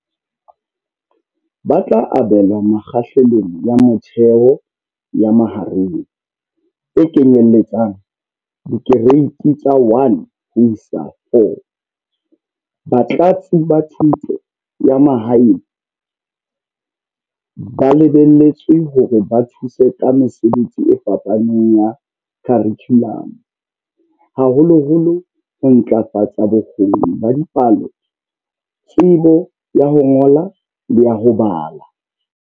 Ba tla abelwa Mekgahlelong ya Motheo le ya Mahareng, e kenyelletsang Dikereiti tsa 1 ho isa 4. Batlatsi ba Thuto ya Mahaeng ba lebelletswe hore ba thuse ka mesebetsi e fapaneng ya kharikhulamo, haholoholo ho ntlafatsa bo kgoni ba dipalo, tsebo ya ho ngola le ya ho bala.